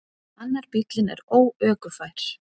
Annar bíllinn er óökufær.